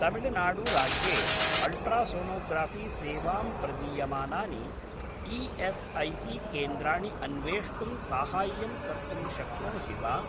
तमिळनाडु राज्ये अल्ट्रासोनोग्राफ़ी सेवां प्रदीयमानानि ई.एस्.ऐ.सी.केन्द्राणि अन्वेष्टुं साहाय्यं कर्तुं शक्नोषि वा?